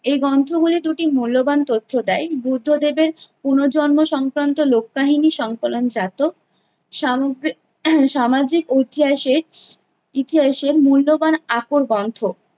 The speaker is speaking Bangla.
এই গন্থগুলি দুটি মূল্যবান তথ্য দেয়, বুদ্ধ্যদেবের পুনুর্জন্ম সংক্রান্ত লোক্ কাহিনী সংকলনজাত সাম~ সামাজিক ঐতিহাসিক ইতিহাসের মূল্যবান আকর গন্থ।